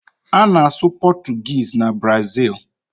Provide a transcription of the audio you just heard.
A na-asụ Pọtụgis na Brazịl.